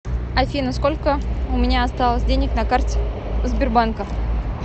афина сколько у меня осталось денег на карте сбербанка